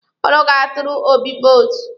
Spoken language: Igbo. Ụnụ ga-atụrụ Obi vootu.